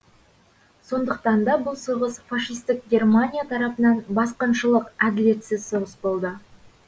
сондықтан да бұл соғыс фашистік германия тарапынан басқыншылық әділетсіз соғыс болды